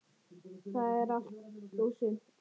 Það er allt og sumt.